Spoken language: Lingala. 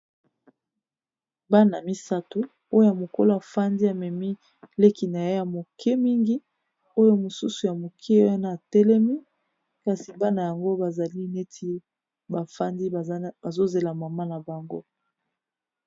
bana misato oyo a mokolo afandi amemi leki na ye ya moke mingi oyo mosusu ya moke wana atelemi kasi bana yango bazali neti bafandi bazozela mama na bango